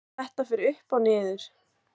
Að þetta fer upp og niður?